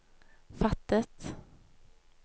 fattet